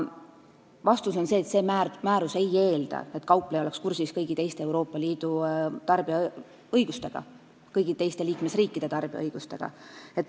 Vastus on see, et see määrus ei eelda, et kaupleja oleks kursis kõigi teiste Euroopa Liidu riikide tarbijaõigustega.